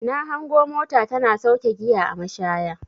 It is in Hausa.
Na hango mota tana sauke giya a mashaya.